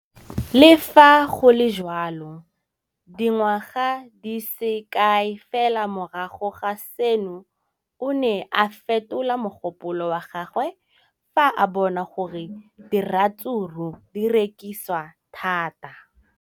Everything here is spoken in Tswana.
Le fa go le jalo, dingwaga di se kae fela morago ga seno, o ne a fetola mogopolo wa gagwe fa a bona gore diratsuru di rekisiwa thata.